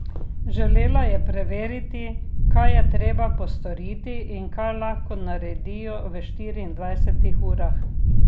Želela je preveriti, kaj je treba postoriti in kaj lahko naredijo v štiriindvajsetih urah.